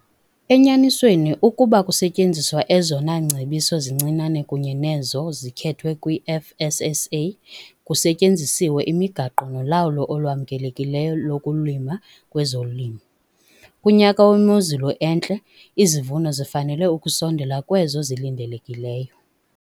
Enyanisweni ukuba kusetyenziswa ezona ngcebiso zincinane kunye nezo zikhethwa kwi-FSSA, kusetyenziswe imigaqo nolawulo olwamkelekileyo lokulima kwezolimo, kunyaka wemozulu entle, izivuno zifanele ukusondela kwezo zilindelekileyo.